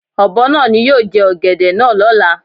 Ọ̀bọ náà ni yóò jẹ ọ̀gẹ̀dẹ̀ náà Lọ́la.